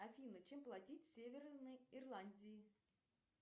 афина чем платить в северной ирландии